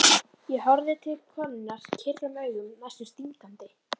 Ég horfði til konunnar kyrrum augum, næstum stingandi.